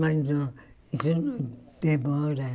Mas não isso não demora.